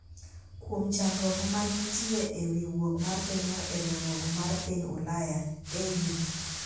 kuom chandruok ma ne nitie e wi wuok mar pinyno e riwruok mar piny Ulaya (EU),